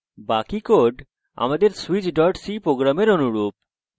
বাকি code আমাদের switch c program অনুরূপ